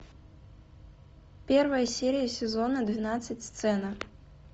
первая серия сезона двенадцать сцена